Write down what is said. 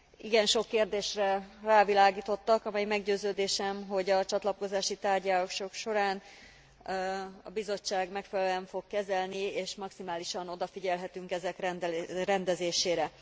Igen sok kérdésre rávilágítottak, amelyeket meggyőződésem, hogy a csatlakozási tárgyalások során a Bizottság megfelelően fog kezelni, és maximálisan odafigyelhetünk ezek rendezésére.